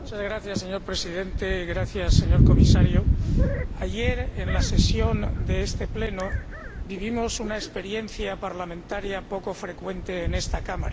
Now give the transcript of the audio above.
Señor Presidente, señor Comisario, ayer, en la sesión de este Pleno, vivimos una experiencia parlamentaria poco frecuente en esta Cámara.